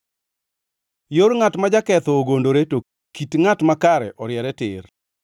Yor ngʼat ma jaketho ogondore, to kit ngʼat makare oriere tir.